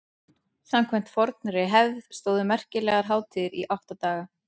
samkvæmt fornri hefð stóðu merkilegar hátíðir í átta daga